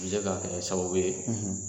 bɛ se ka kɛ sababu ye